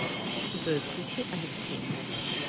джой включи алексина